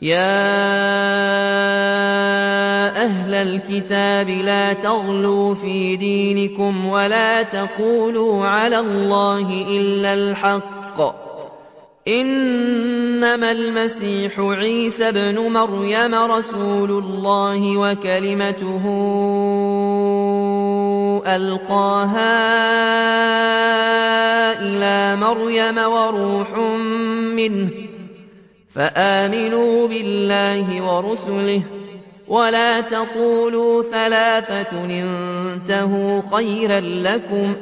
يَا أَهْلَ الْكِتَابِ لَا تَغْلُوا فِي دِينِكُمْ وَلَا تَقُولُوا عَلَى اللَّهِ إِلَّا الْحَقَّ ۚ إِنَّمَا الْمَسِيحُ عِيسَى ابْنُ مَرْيَمَ رَسُولُ اللَّهِ وَكَلِمَتُهُ أَلْقَاهَا إِلَىٰ مَرْيَمَ وَرُوحٌ مِّنْهُ ۖ فَآمِنُوا بِاللَّهِ وَرُسُلِهِ ۖ وَلَا تَقُولُوا ثَلَاثَةٌ ۚ انتَهُوا خَيْرًا لَّكُمْ ۚ